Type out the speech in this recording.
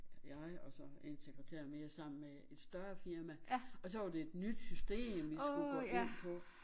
Jeg og så en sekreter mere sammen med et større firma og så var det et nyt system vi skulle gå ind på